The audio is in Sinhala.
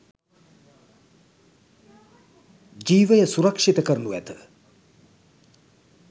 ජිවය සුරක්ෂිත කරනු ඇත.